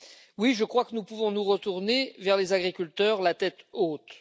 Oui, je crois que nous pouvons nous retourner vers les agriculteurs la tête haute.